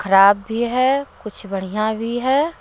खराब भी है कुछ बढ़िया भी है।